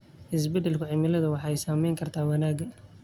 Isbeddelka cimiladu waxay saameyn kartaa wanaagga.